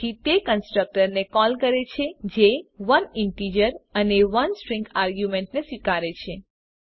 તેથી તે એ કન્સ્ટ્રકટર ને કોલ કરે છે જે ૧ ઇન્ટીજર અને ૧ સ્ટ્રીંગ આર્ગ્યુંમેંટ ને સ્વીકારે છે